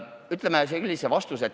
Ütlen sellise vastuse.